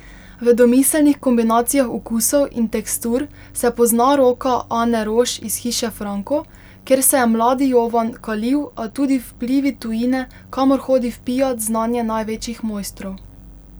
V domiselnih kombinacijah okusov in tekstur se pozna roka Ane Roš iz Hiše Franko, kjer se je mladi Jovan kalil, a tudi vplivi tujine, kamor hodi vpijat znanje največjih mojstrov.